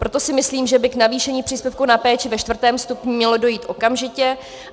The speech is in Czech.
Proto si myslím, že by k navýšení příspěvku na péči ve IV. stupni mělo dojít okamžitě.